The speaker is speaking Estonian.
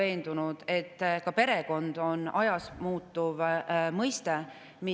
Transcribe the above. Ja kes või mis teie arvates on perekond ja kas perekond oleks vaja ka Eesti õigusruumis lahti defineerida õigusselguse printsiibist lähtuvalt?